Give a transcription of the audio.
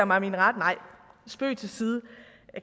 mig min ret nej spøg til side